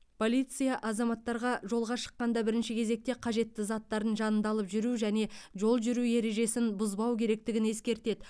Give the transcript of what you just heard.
полиция азаматтарға жолға шыққанда бірінші кезекте қажетті заттарын жанында алып жүру және жол жүру ережесін бұзбау керектігін ескертеді